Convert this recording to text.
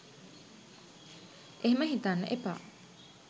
එහෙම හිතන්න එපා.